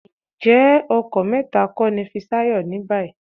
Ǹjẹ́ ọkọ mẹ́ta kọ́ ni Fisáyọ̀ ní báyìí?